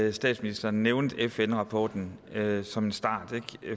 at statsministeren nævnte fn rapporten som en start